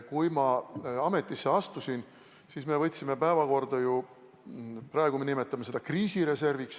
Kui ma ametisse astusin, siis me tõstsime päevakorrale sisekaitsereservi.